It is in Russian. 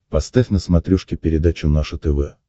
поставь на смотрешке передачу наше тв